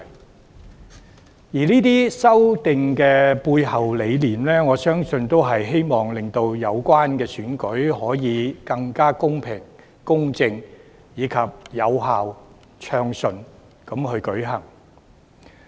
我相信作出這些修訂背後的理念，是希望令有關選舉更公平公正和暢順有效地舉行。